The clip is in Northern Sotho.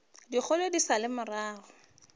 dikgolo di sa le morago